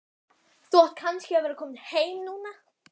Þú átt kannski að vera kominn heim núna.